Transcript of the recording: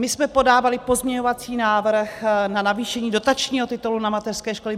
My jsme podávali pozměňovací návrh na navýšení dotačního titulu na mateřské školy.